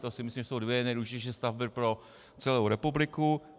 To si myslím, že jsou dvě nejdůležitější stavby pro celou republiku.